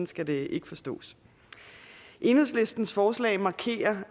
skal det ikke forstås enhedslistens forslag markerer